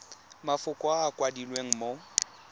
mafoko a a kwadilweng mo